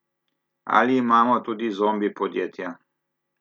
Ali imamo tudi zombi podjetja?